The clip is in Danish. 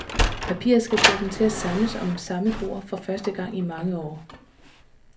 Papiret skal få dem til at samles om samme bord for første gang i mange år.